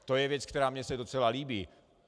To je věc, která se mi docela líbí.